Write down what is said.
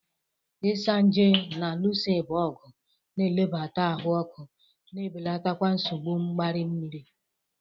Isanaje na-alụso ịba ọgụ, na-ebelata ahụ ọkụ, na-ebelatakwa nsogbu mgbari nri.